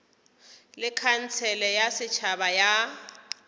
le khansele ya setšhaba ya